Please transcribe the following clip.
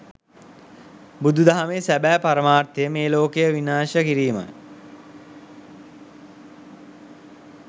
බුදු දහමේ සැබෑ පරමර්ථය මේ ලෝකය විනාශ කිරීමයි.